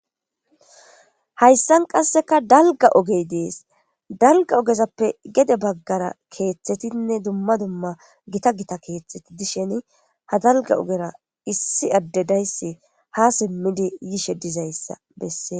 hayssan qasseka dalga ogey dees dalga ogezappe gede baggara keeththetinne dumma dumma gita gita keeththeti dishen ha dalga ogera issi addedayssi ha simmidi yishe dizayssa bessee